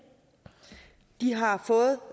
de har fået